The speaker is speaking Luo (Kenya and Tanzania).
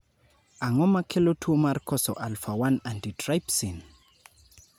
Ang�o ma kelo tuo mar koso alpha 1 antitrypsin?